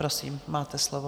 Prosím, máte slovo.